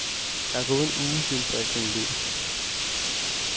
Der er gået en uge, siden fristen er udløbet.